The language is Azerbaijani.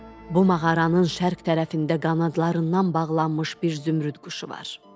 Bu mağaranın şərq tərəfində qanadlarından bağlanmış bir zümrüd quşu var.